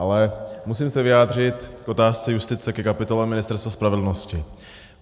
Ale musím se vyjádřit k otázce justice, ke kapitole Ministerstva spravedlnosti.